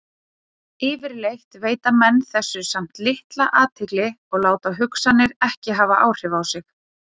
Yfirleitt veita menn þessu samt litla athygli og láta hugsanirnar ekki hafa áhrif á sig.